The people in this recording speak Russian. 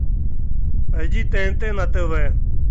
найди тнт на тв